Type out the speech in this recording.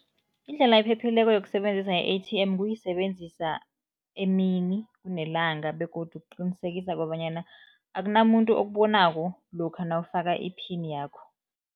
Indlela ephephileko yokusebenzisa i-A_T_M kuyisebenzisa emini kunelanga begodu kuqinisekisa kobanyana akunamuntu okubonako lokha nawufaka iphini yakho.